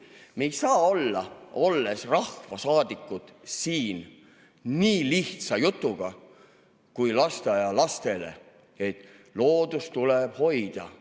Me ei saa olla, olles rahvasaadikud, siin nii lihtsa jutuga nagu räägitakse lasteaialastele, et loodust tuleb hoida.